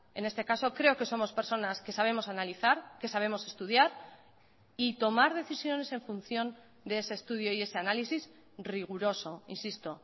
en este caso creo que somos personas que sabemos analizar que sabemos estudiar y tomar decisiones en función de ese estudio y ese análisis riguroso insisto